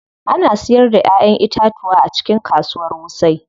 Ana siyar da Ƴaƴan itatuwa a cikin kasuwar wuse.